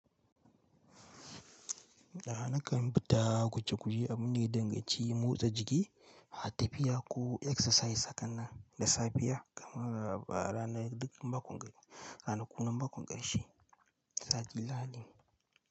Nakan fita guje guje abunda ya danganci motsa jiki, tafiya ko exercise hakannan da safiya kamar a ranar duk makon, ranakun makon ƙarshe.